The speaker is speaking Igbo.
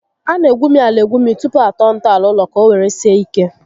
A na egwumi ala egwumi tupu atọọ ntọala ụlọ ka ọ were sie ike